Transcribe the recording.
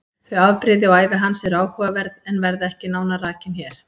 Þau afbrigði og ævi hans eru áhugaverð en verða ekki nánar rakin hér.